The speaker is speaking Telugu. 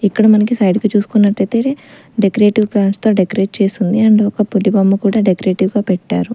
ఇక్కడ మనకి సైడ్ కి చూసుకున్నటైతే డెకరేటివ్ ప్లాంట్స్ తో డెకరేట్ చేసుంది అండ్ ఒకప్పటి బొమ్మ కూడా డెకరేటివ్ గా పెట్టారు.